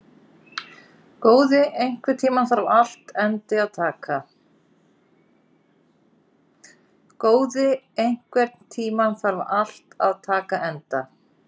Góði, einhvern tímann þarf allt að taka enda.